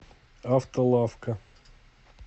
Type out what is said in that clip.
автолавка